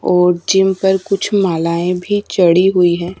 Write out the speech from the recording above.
और जिम पर कुछ मालाएं भी चढ़ी हुई है।